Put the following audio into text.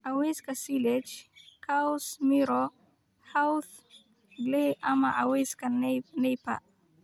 "Cawska silage: Caws, miro, hadhuudh, galley, ama cawska Napier"